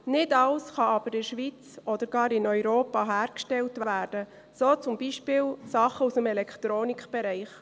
Nicht alles kann aber in der Schweiz oder gar in Europa hergestellt werden, so zum Beispiel Dinge aus dem Elektronikbereich.